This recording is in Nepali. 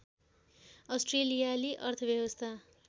अस्ट्रेलियाली अर्थव्यवस्था